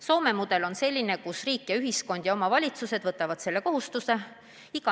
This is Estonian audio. Soome mudel on selline, et riik ja ühiskond ja omavalitsused võtavad selle kohustuse.